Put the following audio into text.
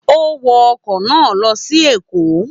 Ó wọ ọkọ̀ náà lọ sí Èkó.